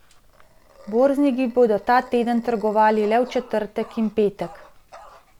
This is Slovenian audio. Borzniki bodo ta teden trgovali le v četrtek in petek.